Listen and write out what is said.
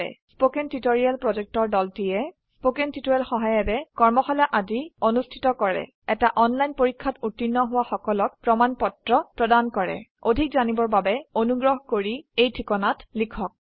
কথন শিক্ষণ প্ৰকল্পৰ দলটিয়ে কথন শিক্ষণ সহায়িকাৰে কৰ্মশালা আদি অনুষ্ঠিত কৰে এটা অনলাইন পৰীক্ষাত উত্তীৰ্ণ হোৱা সকলক প্ৰমাণ পত্ৰ প্ৰদান কৰে অধিক জানিবৰ বাবে অনুগ্ৰহ কৰি contactspoken tutorialorg এই ঠিকনাত লিখক